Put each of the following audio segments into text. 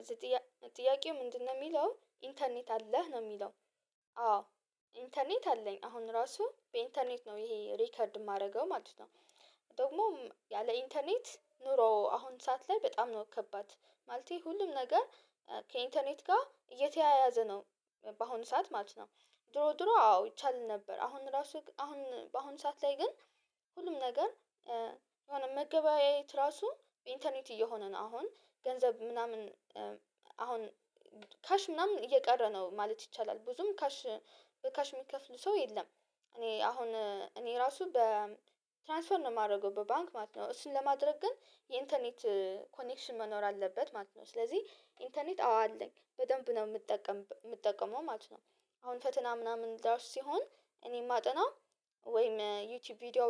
እዚህ ጥያቄው ምንድነው? የሚለው ኢንተርኔት አለህ ነው የሚለው። አዎ። ኢንተርኔት አለኝ አሁን ራሱ በኢንተርኔት ነው ይሄ ሪከርድ የማደርገው ማለት ነው። ደግሞ ያለ ኢንተርኔት ኑሮ አሁን ሰዓት ላይ በጣም ነው ከባድ። ማለቴ ሁሉም ነገር ከኢንተርኔት ጋር እየተያያዘ ነው። በአሁኑ ሰዓት ማለት ነው። ድሮ ድሮ አዎ ይቻላል ነበር አሁን ራሱ አሁን በአሁን ሰዓት ላይ ግን ሁሉም ነገር የሆነ መገበያየት ራሱ በእንተርኔት እየሆነ ነው። አሁን ገንዘብ ምናምን አሁን ካሽ ምናምን እየቀረ ነው ማለት ይቻላል። ብዙም ካሽ በካሽ የሚከፍሉ ሰው የለም። እኔ አሁን እኔ ራሱ በትራንስፈር ነው የማደርገው በባንክ ማለት ነው። እሱን ለማድረግ ግን የኢንተርኔት ኮኔክሽን መኖር አለበት ማለት ነው። ስለዚህ ኢንተርኔት አዎ አለኝ በደንብ ነው የምጠቀመው ማለት ነው። አሁን ፈተና ምናምን ዳሽ ሲሆን እኔ ማጠናው ወይም ዩቲዩብ ቪዲዮ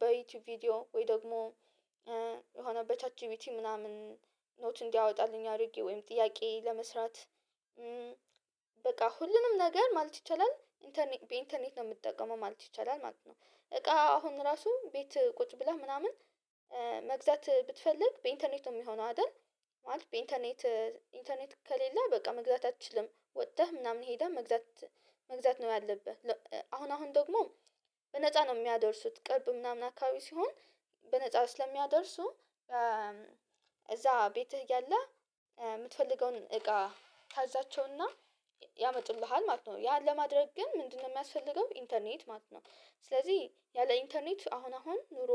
በዩቲዩብ ቪዲዮ ወይ ደግሞ የሆነ በቻት ጂቢቲ ምናምን ኖት እንዲያወጣልኝ አድርጌ ወይም ጥያቄ ለመስራት። በቃ ሁሉንም ነገር ማለት ይቻላል በኢንተርኔት ነው የምትጠቀመው ማለት ይቻላል። ማለት ነው እቃ አሁን እራሱ ቤት ቁጭ ብለህ ምናምን መግዛት ብትፈልግ በኢንተርኔት ነው የሚሆነው አይደል? ማለት በኢንተርኔት ኢንተርኔት ከሌለ በቃ መግዛት አትችልም ወጥተህ ምናምን ሄደህ መግዛት መግዛት ነው ያለብህ። አሁን አሁን ደግሞ በነፃ ነው የሚያደርሱት ቅርብ ምናምን አካባቢ ሲሆን በነፃው ስለሚያደርሱ። እዛ ቤትህ ያለህ የምትፈልገውን እቃ ታዛቸውና ያመጡልሃል ማለት ነው። ያን ለማድረግ ግን ምንድነው የሚያስፈልገው? ኢንተርኔት ማለት ነው። ስለዚህ ያለ ኢንተርኔት አሁን አሁን ኑሮ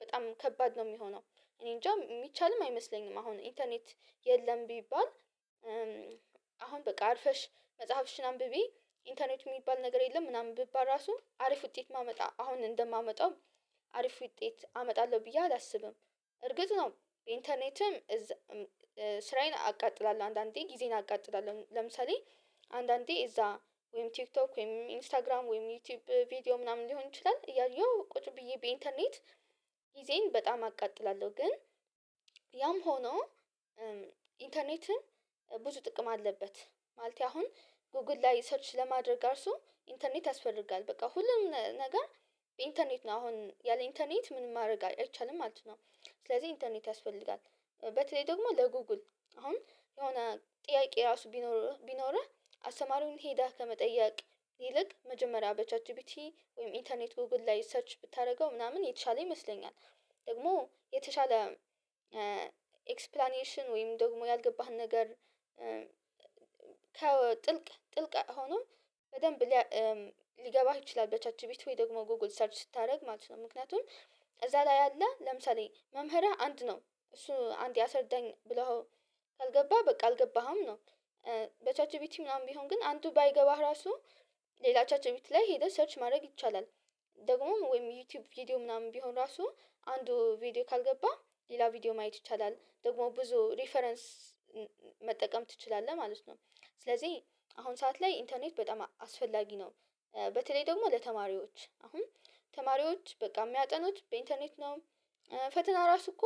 በጣም ከባድ ነው የሚሆነው። እኔ እንጃ የሚቻልም አይመስለኝም አሁን ኢንተርኔት የለም ቢባል። በቃ አርፈሽ መጽሐፍሽን አንብቢ ኢንተርኔት የሚባል ነገር የለም ምናምን ብባል ራሱ አሪፍ ውጤት ማመጣ አሁን እንደማመጣው። አሪፍ ውጤት አመጣለሁ ብዬ አላስብም። እርግጥ ነው ኢንተርኔትም ስራዬን አቃጥላለሁ አንዳንዴ ጊዜን አቃጥላለሁ ለምሳሌ። አንዳንዴ እዛ ወይም ቲክቶክ ወይም ኢንስታግራም ወይም ዩቲዩብ ቪዲዮ ምናምን ሊሆን ይችላል እያየሁ ቁጭ ብዬ በኢንተርኔት። ጊዜን በጣም አቃጥላለሁ ግን ያም ሆኖ ኢንተርኔትም ብዙ ጥቅም አለበት። ማለት አሁን ጎግል ላይ ሰርች ለማድረግ እራሱ ኢንተርኔት ያስፈልጋል በቃ ሁሉም ነገር ኢንተርኔት ነው አሁን ያለ ኢንተርኔት ምን ማድረግ አይቻልም ማለት ነው። ስለዚህ ኢንተርኔት ያስፈልጋል በተለይ ደግሞ ለጉጉል አሁን የሆነ ጥያቄ ራሱ ቢኖር ቢኖርህ አስተማሪውን ሄዳህ ከመጠየቅ ይልቅ መጀመሪያ በቻት ጂፒቲ ወይም ኢንተርኔት ጎግል ላይ ሰርች ብታደርገው ምናምን የተሻለ ይመስለኛል። ደግሞ የተሻለ ኤክስፕላኔሽን ወይም ደግሞ ያልገባህን ነገር ከጥልቅ ጥልቀትም ሆኖ በደንብ ሊገባህ ይችላል በቻች ቤት ወይ ደግሞ ጎግል ሰርች ስታደርግ ማለት ነው ምክንያቱም እዛ ላይ ያለ ለምሳሌ መምህረህ አንድ ነው እሱ አንድ ያሰርደኝ ብለሀው ካልገባ በቃ አልገባህም ነው። በቻት ጂፒቲ ምናምን ቢሆን ግን አንዱ ባይገባህ እራሱ ሌላ ቻት ጂፒቲ ላይ ሄደህ ሰርች ማድረግ ይቻላል። ደግሞም ወይም ዩቲዩብ ቪዲዮ ምናምን ቢሆን ራሱ አንዱ ቪዲዮ ካልገባ ሌላ ቪዲዮ ማየት ይቻላል ደግሞ ብዙ ሪፈረንስ መጠቀም ትችላለህ ማለት ነው። ስለዚህ አሁን ሰዓት ላይ ኢንተርኔት በጣም አስፈላጊ ነው። በተለይ ደግሞ ለተማሪዎች አሁን ተማሪዎች በቃ የሚያጠኑት በኢንተርኔት ነው። ፈተና ራሱ እኮ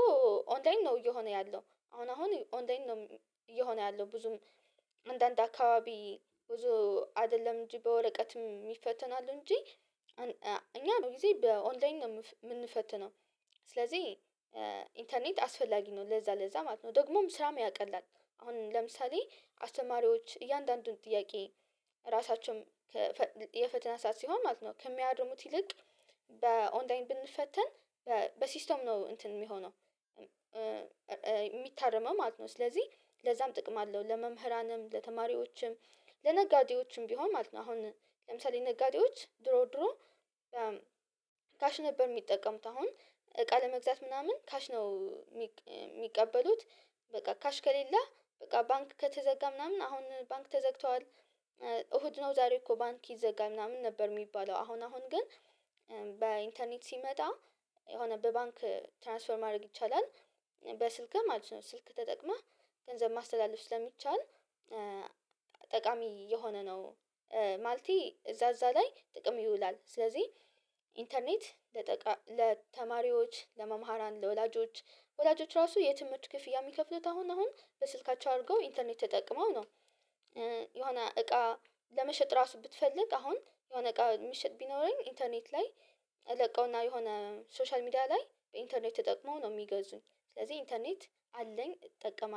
ኦንላይን ነው እየሆነ ያለው አሁን አሁን ኦንላይን ነው። እየሆነ ያለው ብዙም አንዳንድ አካባቢ ብዙ አይደለም እንጂ በወረቀትም ይፈተናሉ እንጂ እኛ ብዙ ጊዜ በኦንላይን ነው የምንፈትነው። ስለዚህ ኢንተርኔት አስፈላጊ ነው ለዛ ለዛ ማለት ነው ደግሞም ስራም ያቀላል። አሁን ለምሳሌ አስተማሪዎች እያንዳንዱን ጥያቄ ራሳቸውም የፈተና ሰዓት ሲሆን ማለት ነው ከሚያርሙት ይልቅ በኦንላይን ብንፈተን በሲስተም ነው እንትን የሚሆነው። የሚታረመው ማለት ነው ስለዚህ ለዛም ጥቅም አለው። ለመምህራንም ለተማሪዎችም ለነጋዴዎችም ቢሆን ማለት ነው። አሁን ለምሳሌ ነጋዴዎች ድሮ ድሮ ነበር የሚጠቀሙት አሁን እቃ ለመግዛት ምናምን ካሽ ነው የሚቀበሉት። በቃ ካሽ ከሌለህ በቃ ባንክ ከተዘጋ ምናምን አሁን ባንክ ተዘግተዋል። እሁድ ነው ዛሬ እኮ ባንክ ይዘጋል ምናምን ነበር የሚባለው አሁን አሁን ግን በኢንተርኔት ሲመጣ የሆነ በባንክ ትራንስፈር ማድረግ ይቻላል። በስልክህ ማለት ነው ስልክ ተጠቅመህ ገንዘብ ማስተላለፍ ስለሚቻል ጠቃሚ እየሆነ ነው። ማለቴ እዛ እዛ ላይ ጥቅም ይውላል። ስለዚህ ኢንተርኔት ለተማሪዎች ለመማራን ለወላጆች ወላጆች እራሱ የትምህርት ክፍያ የሚከፍሉት አሁን አሁን በስልካቸው አድርገው ኢንተርኔት ተጠቅመው ነው። የሆነ እቃ ለመሸጥ እራሱ ብትፈልግ አሁን የሆነ እቃ የሚሸጥ ቢኖረኝ ኢንተርኔት ላይ ለቀውና የሆነ ሶሻል ሚዲያ ላይ በኢንተርኔት ተጠቅመው ነው የሚገዙኝ ስለዚህ ኢንተርኔት አለኝ እጠቀማለሁ